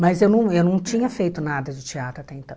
Mas eu não eu não tinha feito nada de teatro até então.